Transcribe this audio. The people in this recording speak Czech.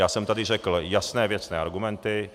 Já jsem tady řekl jasné, věcné argumenty.